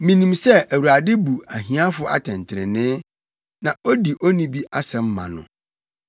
Minim sɛ Awurade bu ahiafo atɛntrenee na odi onnibi asɛm ma no.